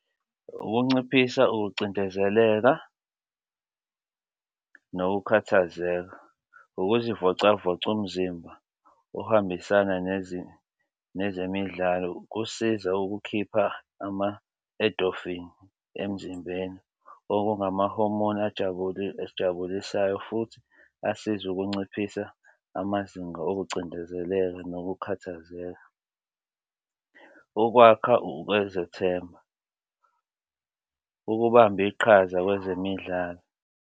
Ukunciphisa ukucindezeleka nokukhathazeka, ukuzivocavoca, umzimba ohambisana nezimo nezemidlalo kusiza ukukhipha ama-edofini emzimbeni okungamahomoni ajabule esijabulisayo futhi asizwe ukunciphisa amazinga okucindezeleka nokukhathazeka ukwakha ukwethembana, ukubamba iqhaza kwezemidlalo.